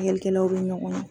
Lagɛlikɛlaw be ɲɔgɔn ɲɔn